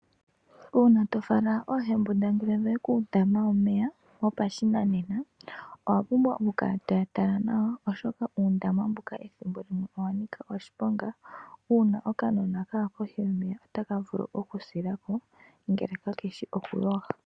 Uuna tofala oohembundangele yoye kuundama womeya wopashinanena. Owa pumbwa oku kala toya tala nawa oshoka uundama mbuka owa nika oshiponga. Uuna oka nona kaya kohi yomeya otaka vulu oku sila ko ngele ka keshi oku yoga.